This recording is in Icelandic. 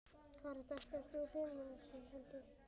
Karen: Þetta, þú ert hrifinn af þessu held ég?